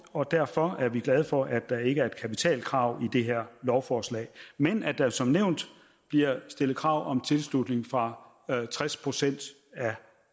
og derfor er vi glade for at der ikke er kapitalkrav i det her lovforslag men at der som nævnt bliver stillet krav om tilslutning fra tres procent af